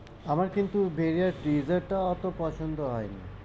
আমার কিন্তু ভেরিয়া trailer অতো পছন্দ হয়নি,